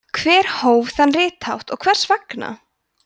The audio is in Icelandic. hver hóf þann rithátt og hvers vegna